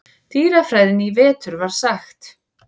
dýrafræðinni í vetur var sagt.